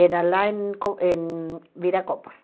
Era lá em co em Viracopos.